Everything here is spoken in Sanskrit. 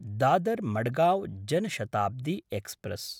दादर्–मडगाँव् जन शताब्दी एक्स्प्रेस्